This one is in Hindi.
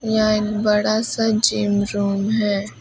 यह एक बड़ा सा जिम रूम है।